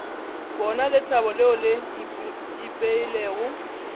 bona lethabo leo le ipeilego